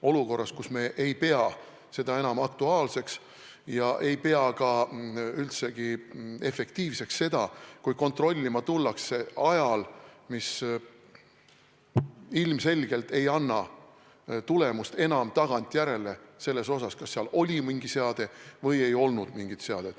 Olukorras, kus me ei pea seda enam aktuaalseks ja ei pea ka üldse efektiivseks, kui kontrollima tullakse ajal, mis ilmselgelt ei anna tagantjärele enam tulemust, kas seal oli mingi seade või ei olnud mingit seadet.